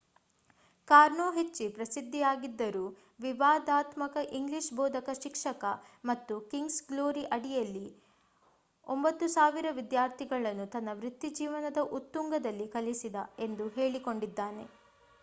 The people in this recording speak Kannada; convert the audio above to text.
ಕಾರ್ನೋ ಹೆಚ್ಚಿ ಪ್ರಸಿದ್ಧಿಯಾಗಿದ್ದರು ವಿವಾದಾತ್ಮಕ ಇಂಗ್ಲಿಷ್ ಬೋಧಕ ಶಿಕ್ಷಣ ಮತ್ತು ಕಿಂಗ್ಸ್ ಗ್ಲೋರಿ ಅಡಿಯಲ್ಲಿ 9,000 ವಿದ್ಯಾರ್ಥಿಗಳನ್ನು ತನ್ನ ವೃತ್ತಿಜೀವನದ ಉತ್ತುಂಗದಲ್ಲಿ ಕಲಿಸಿದ ಎಂದು ಹೇಳಿಕೊಂಡಿದ್ದಾನೆ